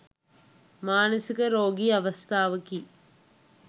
මානසික රෝගී අවස්ථාවකි.